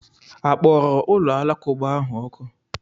A kpọrọ ụlọ alakụba ha ọkụ?